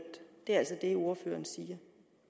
er altså det ordføreren siger